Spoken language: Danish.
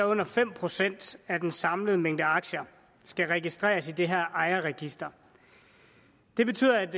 under fem procent af den samlede mængde aktier skal registreres i det her ejerregister det betyder at